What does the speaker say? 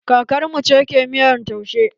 Kakar mu ce ke miyan taushen.